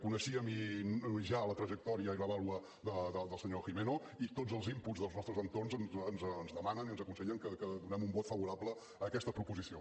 coneixíem ja la trajectòria i la vàlua del senyor gimeno i tots els inputs dels nostres entorns ens demanen i ens aconsellen que donem un vot favorable a aquesta proposició